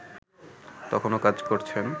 তখনও কাজ করছেন